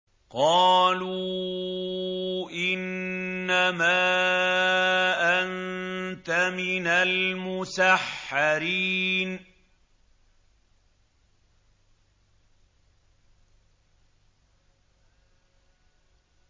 قَالُوا إِنَّمَا أَنتَ مِنَ الْمُسَحَّرِينَ